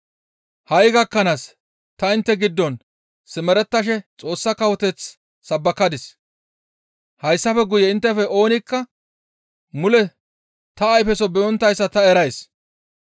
«Ha7i gakkanaas ta intte giddon simerettashe Xoossa kawoteth sabbakadis; hayssafe guye inttefe oonikka mule ta ayfeso be7onttayssa ta erays.